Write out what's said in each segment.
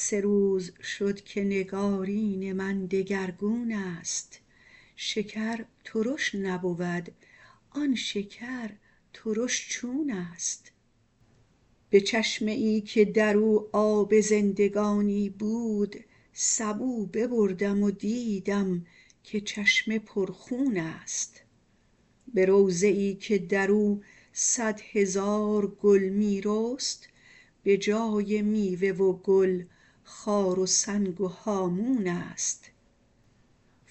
سه روز شد که نگارین من دگرگون ست شکر ترش نبود آن شکر ترش چون ست به چشمه ای که در او آب زندگانی بود سبو ببردم و دیدم که چشمه پرخون ست به روضه ای که در او صد هزار گل می رست به جای میوه و گل خار و سنگ و هامون ست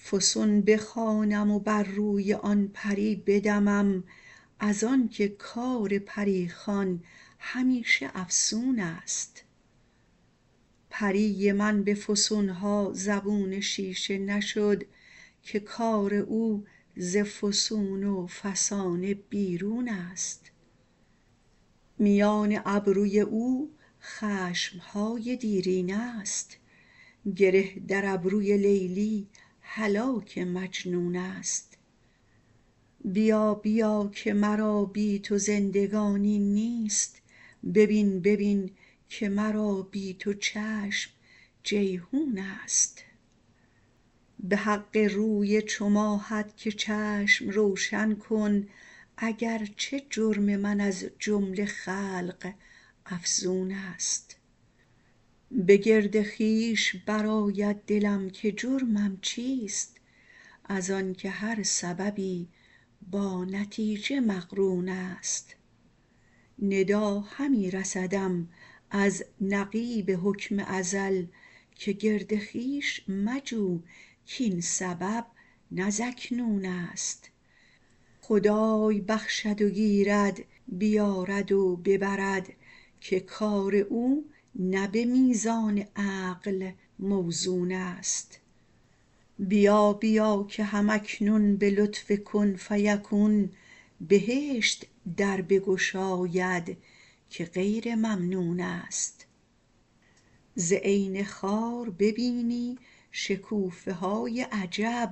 فسون بخوانم و بر روی آن پری بدمم از آنک کار پری خوان همیشه افسون ست پری من به فسون ها زبون شیشه نشد که کار او ز فسون و فسانه بیرون ست میان ابروی او خشم های دیرینه ست گره در ابروی لیلی هلاک مجنون ست بیا بیا که مرا بی تو زندگانی نیست ببین ببین که مرا بی تو چشم جیحون ست به حق روی چو ماهت که چشم روشن کن اگر چه جرم من از جمله خلق افزون ست به گرد خویش برآید دلم که جرمم چیست از آنک هر سببی با نتیجه مقرون ست ندا همی رسدم از نقیب حکم ازل که گرد خویش مجو کاین سبب نه زاکنون ست خدای بخشد و گیرد بیارد و ببرد که کار او نه به میزان عقل موزون ست بیا بیا که هم اکنون به لطف کن فیکون بهشت در بگشاید که غیر ممنون ست ز عین خار ببینی شکوفه های عجیب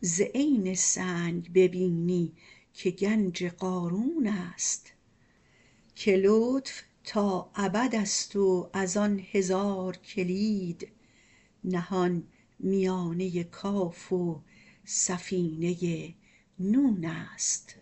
ز عین سنگ ببینی که گنج قارون ست که لطف تا ابد ست و از آن هزار کلید نهان میانه کاف و سفینه نون ست